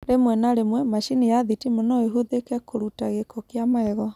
Rĩmwe na rĩmwe, macini ya thitima no ĩhũthĩke kũruta gĩko kĩa magego.